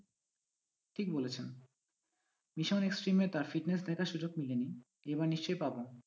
ঠিক বলেছেন mission extrem এ দেখার সুযোগ মেলে নি এবার নিশ্চয়ই পাবো।